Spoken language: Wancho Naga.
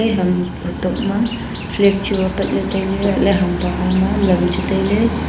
e ham huthok ma flag chu aa pat ley tai ley latla ham bahar ma lam chu tai ley.